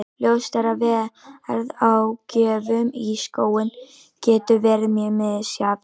Ljóst er að verð á gjöfum í skóinn getur verið mjög misjafnt.